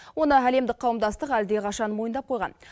оны әлемдік қауымдастық әлдеқашан мойындап қойған